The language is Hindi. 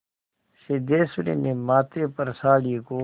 सिद्धेश्वरी ने माथे पर साड़ी को